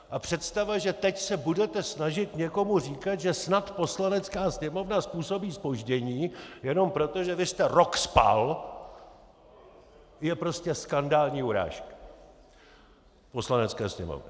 A představa, že teď se budete snažit někomu říkat, že snad Poslanecká sněmovna způsobí zpoždění, jenom proto, že vy jste rok spal, je prostě skandální urážka Poslanecké sněmovny.